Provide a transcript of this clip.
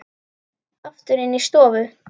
Aftur inn í stofu.